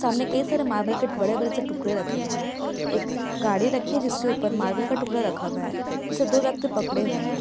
सामने कई सारे मार्बल के बड़े-बड़े से टुकड़े रखे हुए है एक गाड़ी रखी जिसके ऊपर मार्बल का टुकड़ा रखा हुआ है उसे दो व्यक्ति पकड़े हुए है।